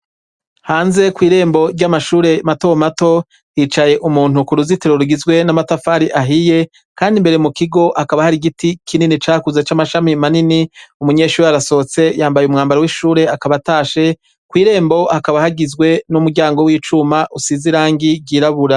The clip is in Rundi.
Hanze kw'irembo ry'amashure matomato yicaye umuntu ku ruzitiro rgizwe n'amatafari ahiye, kandi imbere mu kigo hakaba hari igiti kinini cakuza c'amashami manini umunyeshure arasohotse yambaye umwambaro w'ishure akabatashe kw'irembo hakaba hagizwe n'umuryango w'icuma usizirangi ryirabura.